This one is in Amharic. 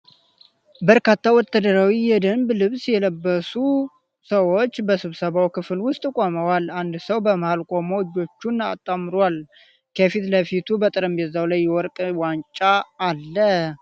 በርካታ ወታደራዊ የደንብ ልብስ የለበሱ ሰዎች በስብሰባ ክፍል ውስጥ ቆመዋል። አንድ ሰው በመሃል ቆሞ እጆቹን አጣምሯል፤ ከፊት ለፊቱ በጠረጴዛው ላይ የወርቅ ዋንጫ አለ።